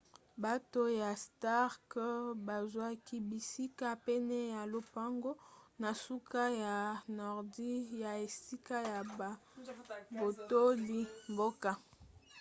bato ya stark bazwaki bisika pene ya lopango na suka ya nordi ya esika ya babotoli mboka